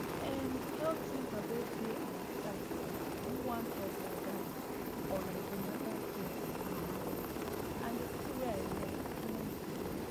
em health center wey dey our side do one talk like dat on an ten atal care for mama dem and thing wey i learn plenty